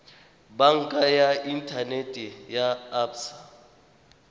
banka ya inthanete ya absa